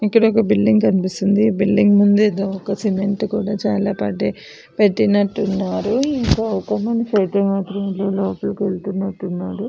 ఇక్కడ ఒక బిల్డింగ్ కనిపిస్తుంది బిల్డింగ్ ముందు కూడా సిమెంట్ చాలా పాటీ పెట్టినట్టు ఉన్నారు కొంత మంది లోపల వెళ్తున్నట్టు ఉన్నారు --